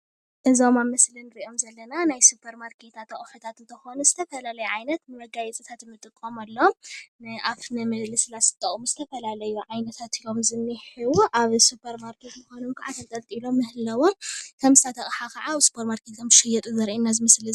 እዞም ኣብ ምስሊ እንርእዮም ዘለና ናይ ሱፐር ማርኬታት ኣቁሑታት እንትኮኑ ዝተፋላለየ ዓይነት መጋየፂታት ንጥቀመሎም ንኣፍ ንምልሰላስ ዝጠቅሙ ዝተፋላለዩ ዓይነታት እዮም እንሄዉ ኣብ ሱፐር ማርኬት ምኳኖም ካኣ ተንጠልጢሎም ምህላዎም ከምዚታት ኣቅሓ ከኣ ኣብ ሱፐር ማርኬት ከምዝሽየጡ ዘርእየና እዚ ምስሊ እዚ፡፡